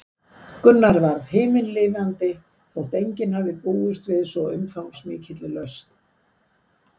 Gunnar varð himinlifandi þótt enginn hefði búist við svo umfangsmikilli lausn.